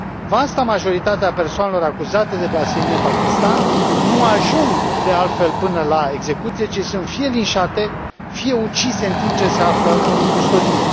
Vasta majoritate a persoanelor acuzate de blasfemie în Pakistan nu ajung, de altfel, până la execuție, ci sunt fie linșate, fie ucise în timp ce se află în custodie.